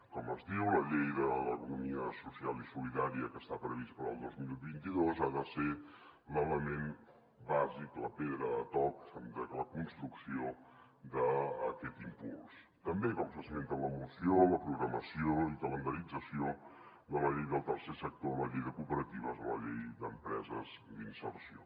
com es diu la llei de l’economia social i solidària que està prevista per al dos mil vint dos ha de ser l’element bàsic la pedra de toc de la construcció d’aquest impuls també com s’esmenta en la moció la programació i calendarització de la llei del tercer sector la llei de cooperatives la llei d’empreses d’inserció